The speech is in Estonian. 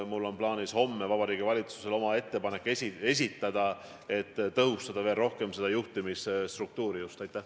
Mul on plaanis homme esitada Vabariigi Valitsusele ettepanek juhtimisstruktuuri veel rohkem tõhustada.